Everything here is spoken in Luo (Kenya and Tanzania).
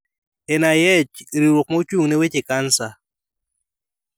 NIH: Riwruok ma ochung ne weche cancer